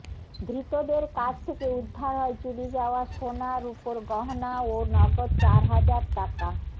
ধৃতদের কাছ থেকে উদ্ধার হয় চুরি যাওয়া সোনা রুপোর গহনা ও নগদ চার হাজার টাকা